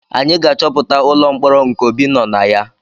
Anyị ga-achọpụta ụlọ mkpọrọ nke Obi nọ na ya